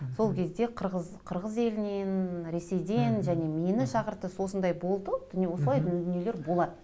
сол кезде қырғыз қырғыз елінен ресейден және мені шақыртты осындай болды осылай дүниелер болады